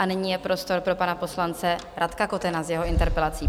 A nyní je prostor pro pana poslance Radka Kotena s jeho interpelací.